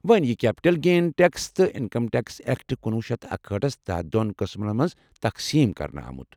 وۄنہِ ، یہِ capital gain tax تہِ انکم ٹٮ۪کس اٮ۪کٹ کنُۄہُ شیتھ اکہأٹھس تحت دۄن قٕسمن منٛز تقسیٖم کرنہٕ آمٗت